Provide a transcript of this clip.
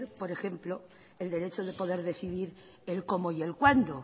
por ejemplo el derecho de poder decidir el cómo y el cuándo